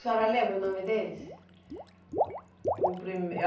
A senhora lembra o nome deles? O primei